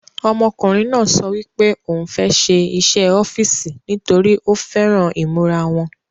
Ọmọkùnrin náà sọ wípé ò ń fẹ́ ṣe iṣẹ́ ọ́fìsì nítorí ó fẹ́ran ìmúra wọn